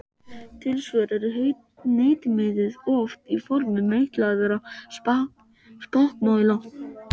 Tilsvör eru hnitmiðuð og oft í formi meitlaðra spakmæla.